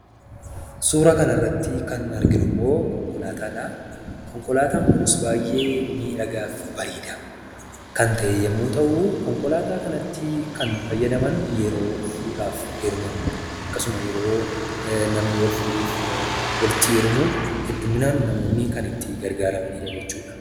Suuraa kanarratti kan arginummoo konkolaataadha. Konkolaataan kunis baayyee miidhagaaf bareedaa kan ta'e yommuu ta'u, konkolaataa kanatti kan fayyadaman yeroo fuudhaaf heerumaa, akkasuma yeroo namni wal fuudhuuf walitti heerumu hedduminaan namoonni kan itti gargaaramanidha jechuudha.